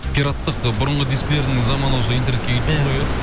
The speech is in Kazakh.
пираттық ы бұрынғы дискілердің заманы осы интернетке келіп тұр ғой иә